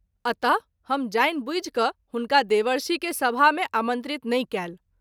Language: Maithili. अत: हम जानि बुझि क’ हुनका देवर्षि के सभा मे आमंत्रित नहिं कएल।